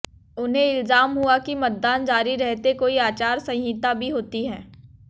उन्हें इलहाम हुआ कि मतदान जारी रहते कोई आचार संहिता भी होती है